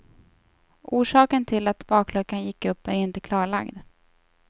Orsaken till att bakluckan gick upp är inte klarlagd.